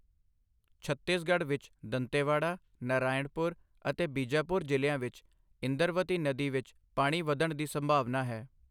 ਛੱਤੀਸਗੜ੍ਹ ਵਿੱਚ ਦੰਤੇਵਾੜਾ, ਨਰਾਯਣਪੁਰ ਅਤੇ ਬੀਜਾਪੁਰ ਜ਼ਿਲ੍ਹਿਆਂ ਵਿੱਚ ਇੰਦਰਵਤੀ ਨਦੀ ਵਿੱਚ ਪਾਣੀ ਵੱਧਣ ਦੀ ਸੰਭਾਵਨਾ ਹੈ।